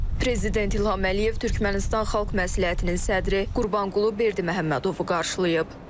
Prezident İlham Əliyev Türkmənistan Xalq Məsləhətinin sədri Qurbanqulu Berdiməhəmmədovu qarşılayıb.